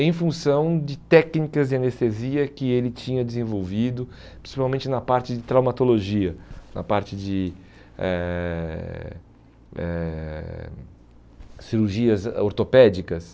em função de técnicas de anestesia que ele tinha desenvolvido, principalmente na parte de traumatologia, na parte de eh eh cirurgias ah ortopédicas.